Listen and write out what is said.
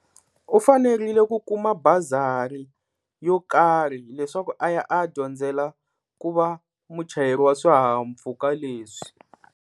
U fanerile ku kuma bazari yo karhi leswaku a ya a ya dyondzela ku va muchayeri wa swihahampfhuka leswi.